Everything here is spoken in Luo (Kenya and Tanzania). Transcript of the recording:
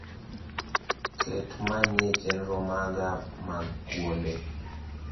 ket manyie chenro maga mag kuonde